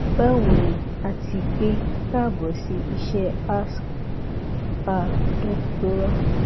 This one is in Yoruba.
bawo ni ati pe kaabo si iṣẹ âask a doctorâ